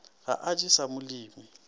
ga a je sa molemi